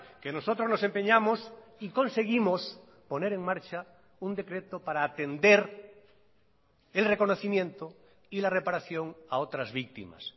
que nosotros nos empeñamos y conseguimos poner en marcha un decreto para atender el reconocimiento y la reparación a otras víctimas